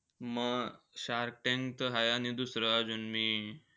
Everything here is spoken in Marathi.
म शार्क टॅंक त हाय. आणि दुसरं अजून मी,